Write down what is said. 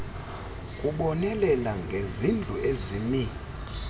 kubonelela ngezindlu ezimi